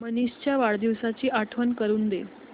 मनीष च्या वाढदिवसाची आठवण करून दे